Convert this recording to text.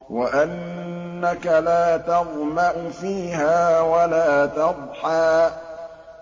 وَأَنَّكَ لَا تَظْمَأُ فِيهَا وَلَا تَضْحَىٰ